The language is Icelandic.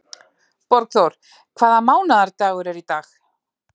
Borgþór, hvaða mánaðardagur er í dag?